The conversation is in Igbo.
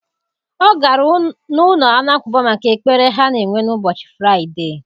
Ọ gara n'ụlọ Alakụba maka ekpere ha na-enwe n'ụbọchị Fraịde.